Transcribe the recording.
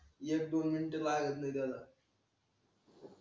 एक दोन मिनिटं लागत नाही